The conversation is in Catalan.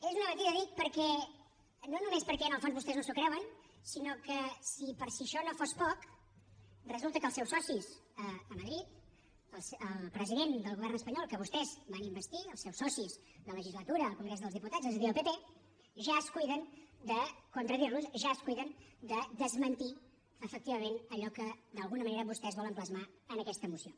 és una mentida dic no només perquè en el fons vostès no s’ho creuen sinó que si per si això no fos poc resulta que els seus socis a madrid el president del govern espanyol que vostès van investir els seus socis de legislatura al congrés dels diputats és a dir el pp ja es cuiden a contradir los ja es cuiden de desmentir efectivament allò que d’alguna manera vostès volen plasmar en aquesta moció